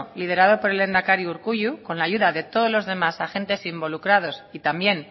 liderado por el lehendakari urkullu con la ayuda de todos los demás agentes involucrados y también